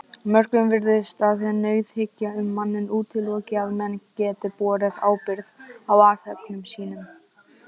Mörgum virðist að nauðhyggja um manninn útiloki að menn geti borið ábyrgð á athöfnum sínum.